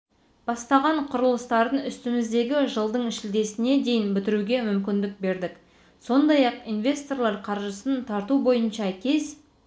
бастаған құрылыстарын үстіміздегі жылдың шілдесіне дейін бітіруге мүмкіндік бердік сондай-ақ инвесторлар қаржысын тарту бойынша кез